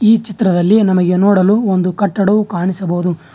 ಈ ಚಿತ್ರದಲ್ಲಿ ನಮಗೆ ನೋಡಲು ಒಂದು ಕಟ್ಟಡವು ಕಾಣಿಸಬಹುದು.